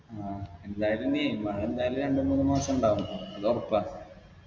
ആ എന്തായാലും നീ മഴ എന്തായാലും രണ്ട് മൂന്ന് മാസിണ്ടാവും അത് ഒറപ്പാ